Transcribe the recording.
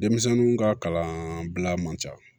Denmisɛnninw ka kalanbila man ca